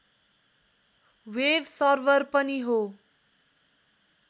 web server पनि हो